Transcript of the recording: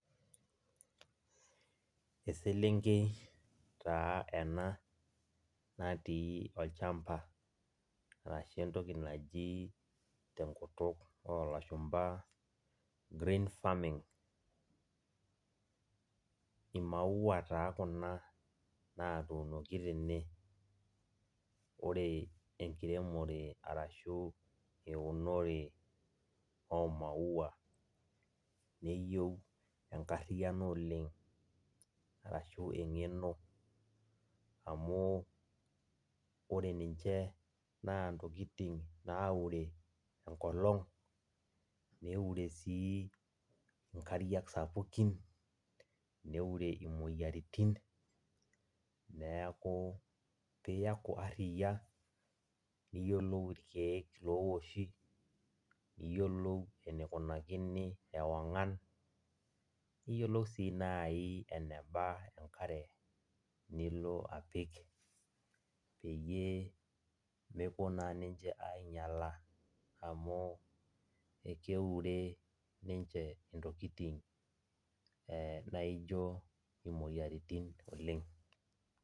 Eselenkei taa ena natii olchamba arashu entoki naji tenkutuk olashumaba brain farming imaua taa kuna natuunoki tene , ore enkiremore arashu eunore omaua neyieu enkariano oleng arashu engeno amu ore ninche naa ntokitin naure enkolong, neure sii nkariak sapukin, neure imoyiaritin neeku piaku aria niyiolou irkiek loowoshi, niyiolou enikunakini ewangan, niyiolou si nai eneba enakre nilo apik peyie mepuo naa niche ainyiala amu ekeure ninche ntokitin naijo imoyiritin oleng.